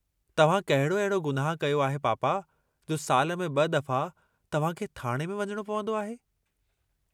तव्हां कहिड़ो अहिड़ो गुनाहु कयो आहे पापा जो साल में ब दफ़ा तव्हां खे थाणे में वञिणो पवन्दो आहे।